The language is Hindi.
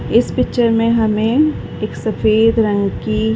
इस पिक्चर में हमे एक सफ़ेद रंग की --